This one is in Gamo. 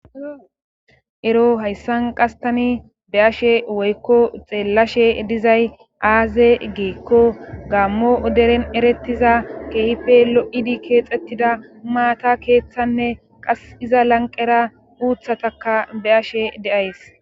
Ero hayssan qastani be ashe woykko xeellashe dizay aaze geekko gaammo oderen erettiza keehife lo'idi keexettida umaata keeththanne qas iza lanqera uuthataka be ashe deays.